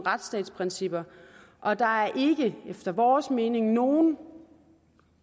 retsstatsprincipper og der er ikke efter vores mening nogen